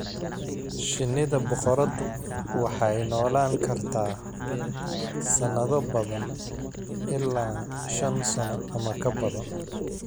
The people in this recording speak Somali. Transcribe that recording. Shinnida boqoradu waxay noolaan kartaa sanado badan - ilaa shan sano ama ka badan.